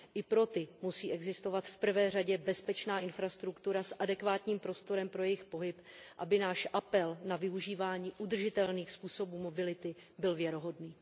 I pro ty musí existovat v prvé řadě bezpečná infrastruktura s adekvátním prostorem pro jejich pohyb, aby náš apel na využívání udržitelných způsobů mobility byl věrohodný.